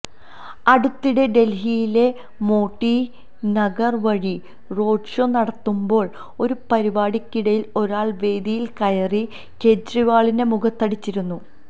അടുത്തിടെ ഡല്ഹിയിലെ മോട്ടി നഗര് വഴി റോഡ്ഷോ നടത്തമ്പോള് ഒരു പരിപാടിക്കിടയില് ഒരാള് വേദിയില് കയറി കെജ്രിവാളിന്റെ മുഖത്തടിച്ചിരുന്നു